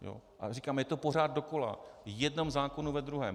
A říkám, je to pořád dokola, v jednom zákonu za druhým.